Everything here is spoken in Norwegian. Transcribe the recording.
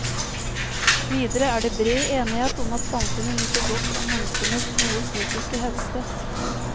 Videre er det bred enighet om at samfunnet nyter godt av menneskenes gode fysiske helse.